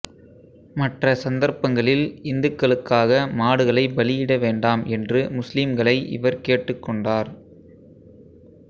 மற்ற சந்தர்ப்பங்களில் இந்துக்களுக்காக மாடுகளை பலியிட வேண்டாம் என்று முஸ்லிம்களை இவர் கேட்டுக்கொண்டார்